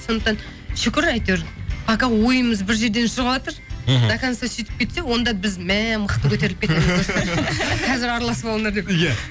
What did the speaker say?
сондықтан шүкір әйтеуір пока ойымыз бір жерден шығыватыр мхм до конца сөйтіп кетсе онда біз мә мықты көтеріліп кетеміз қазір араласып алыңдар иә